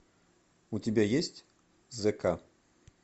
у тебя есть з к